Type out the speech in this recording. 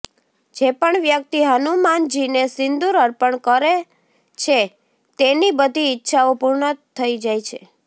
જે પણ વ્યક્તિ હનુમાનજીને સિંદૂર અર્પણ કર છે તેની બધી ઈચ્છાઓ પૂર્ણ થઈ જાય છે